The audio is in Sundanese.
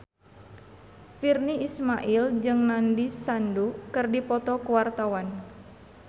Virnie Ismail jeung Nandish Sandhu keur dipoto ku wartawan